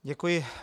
Děkuji.